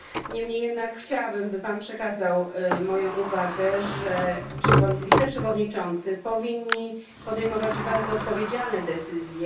Niemniej jednak chciałabym, by Pan przekazał moją uwagę, że wiceprzewodniczący powinni podejmować bardzo odpowiedzialne decyzje.